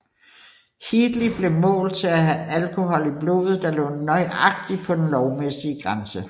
Heatley blev målt til at have alkohol i blodet der lå nøjagtigt på den lovmæssige grænse